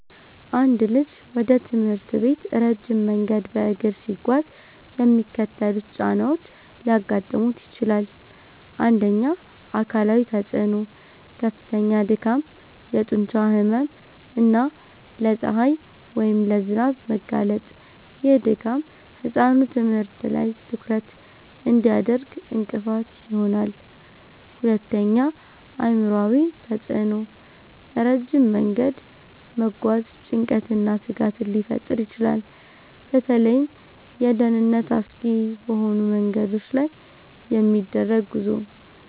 አንድ ልጅ ወደ ትምህርት ቤት ረጅም መንገድ በእግር ሲጓዝ የሚከተሉት ጫናዎች ሊያጋጥሙት ይችላል፦ 1. አካላዊ ተፅዕኖ፦ ከፍተኛ ድካም፣ የጡንቻ ህመም እና ለፀሐይ ወይም ለዝናብ መጋለጥ። ይህ ድካም ህጻኑ ትምህርት ላይ ትኩረት እንዳያደርግ እንቅፋት ይሆናል። 2. አእምሯዊ ተፅዕኖ፦ ረጅም መንገድ መጓዝ ጭንቀትንና ስጋትን ሊፈጥር ይችላል። በተለይም ለደህንነት አስጊ በሆኑ መንገዶች ላይ የሚደረግ ጉዞ